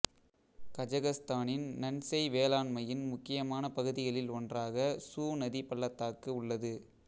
கஜகஸ்தானின் நன்செய் வேளாண்மையின் முக்கியமான பகுதிகளில் ஒன்றாக சு நதி பள்ளத்தாக்கு உள்ளது